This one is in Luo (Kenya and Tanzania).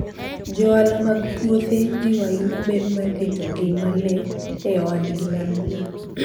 Johala mag puothe jiwo ahinya ber mar rito ngima le e ohandgi mar gwen.